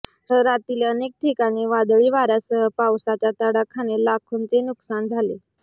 शहरातील अनेक ठिकाणी वादळी वाऱ्यासह पावसाच्या तडाख्याने लाखोंचे नुकसान झालं